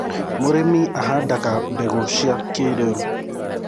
mũrĩmi ahandaga mbegũ cia kĩiriu